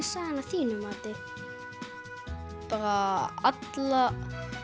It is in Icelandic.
sagan að þínu mati bara alla